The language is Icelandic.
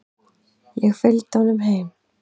Ég fylgdi honum heim.